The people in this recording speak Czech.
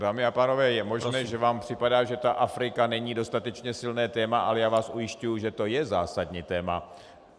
Dámy a pánové, je možné, že vám připadá, že ta Afrika není dostatečně silné téma, ale já vás ujišťuji, že to je zásadní téma.